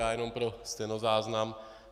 Já jenom pro stenozáznam.